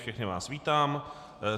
Všechny vás vítám.